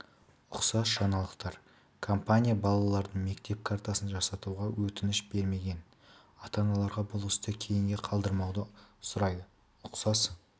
ұқсас жаңалықтар компания балалардың мектеп картасын жасатуға өтініш бермеген ата-аналарға бұл істі кейінге қалдырмауды сұрайды ұқсас